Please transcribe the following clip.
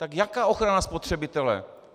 Tak jaká ochrana spotřebitele?